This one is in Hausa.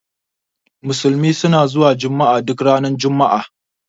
Musulmi suna zuwa juma'a duk ranar juma'a.